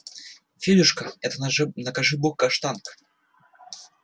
федюшка это накажи бог каштанка